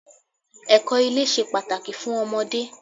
Ẹ̀kọ́ ilé ṣe pàtàkì fún ọmọdé.